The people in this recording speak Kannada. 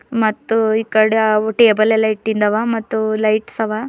ಮತ್ತು ಈ ಕಡೆ ಅವು ಟೇಬಲ್ ಎಲ್ಲಾ ಇಟ್ಟಿಂದವ ಮತ್ತು ಲೈಟ್ಸ್ ಅವ.